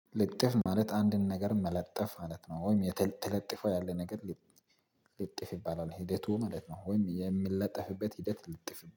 ልጥፍ ማለት አንድን ነገር መለጠፍ ማለት ነው ወይም የተለጠፈው ያለ ነገር። ልጥፍ ይባላል ሂደቱ ማለት ነው ወይም የምለጠፍበት ሂደት ልጥፍ